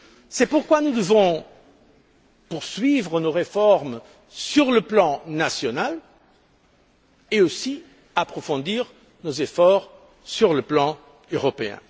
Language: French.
C'est pourquoi nous devons poursuivre nos réformes sur le plan national et aussi approfondir nos efforts sur le plan européen.